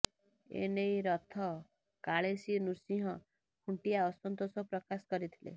ଏ ନେଇ ରଥ କାଳେସୀ ନୃସିଂହ ଖୁଣ୍ଟିଆ ଅସନ୍ତୋଷ ପ୍ରକାଶ କରିଥିଲେ